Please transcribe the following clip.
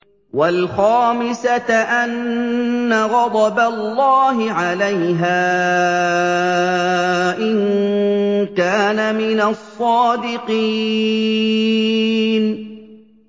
وَالْخَامِسَةَ أَنَّ غَضَبَ اللَّهِ عَلَيْهَا إِن كَانَ مِنَ الصَّادِقِينَ